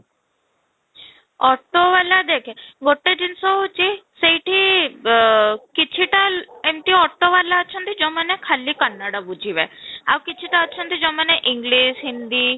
auto ଵାଲା ଦେଖେ ଗୋଟେ ଜିନିଷ ହେଉଛି ସେଇଠି ଅଃ କିଛିଟା ଏମିତି auto ଵାଲା ଅଛନ୍ତି ଯଉମାନେ ଖାଲି କନ୍ନଡା ବୁଝିବେ ଆଉ କିଛିଟେନ ଅଛନ୍ତି ଯଉମାନେ english ହିନ୍ଦୀ